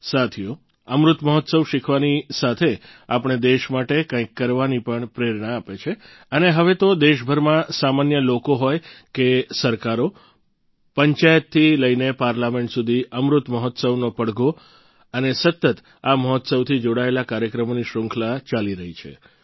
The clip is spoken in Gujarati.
સાથીઓ અમૃત મહોત્સવ શીખવાની સાથે આપણે દેશ માટે કંઈક કરવાની પણ પ્રેરણા આપે છે અને હવે તો દેશભરમાં સામાન્ય લોકો હોય કે સરકારો પંચાયતથી લઈને પાર્લામેન્ટ સુધી અમૃત મહોત્સવનો પડઘો અને સતત આ મહોત્સવથી જોડાયેલા કાર્યક્રમોની શ્રુંખલા ચાલી રહી છે